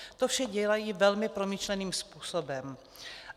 To vše dělají velmi promyšleným způsobem.